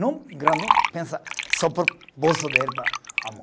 Não grandão, pensa só para o bolso dele, para amor.